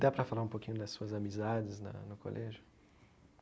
Dá pra falar um pouquinho das suas amizades na no colégio?